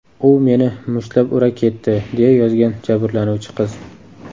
U meni mushtlab ura ketdi”, deya yozgan jabrlanuvchi qiz.